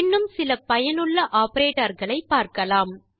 இன்னும் சில பயனுள்ள ஆப்பரேட்டர் களை பார்க்கலாம்